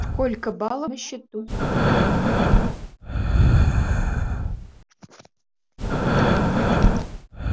сколько баллов на счету